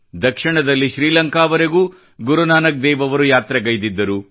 ದಕ್ಷಿಣದಲ್ಲಿ ಶ್ರೀಲಂಕಾ ವರೆಗೂ ಗುರುನಾನಕ್ ದೇವ್ ರವರು ಯಾತ್ರೆಗೈದಿದ್ದರು